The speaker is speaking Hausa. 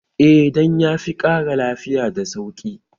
Eh dan ya fi ƙara lafiya da sauki